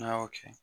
N'a y'o kɛ